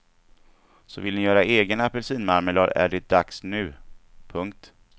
Så vill ni göra egen apelsinmarmelad är det dags nu. punkt